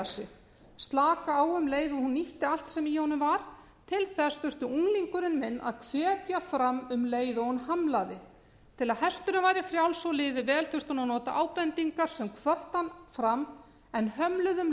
sig slaka á um leið og hún nýtti allt sem í honum var til þess þurfti unglingurinn minn að hvetja fram um leið og hún hamlaði til að hesturinn væri frjáls og liði vel þurfti hún að nota ábendingar sem hvöttu hann fram en hömluðu um